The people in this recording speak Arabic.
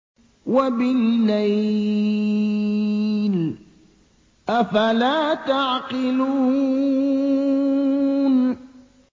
وَبِاللَّيْلِ ۗ أَفَلَا تَعْقِلُونَ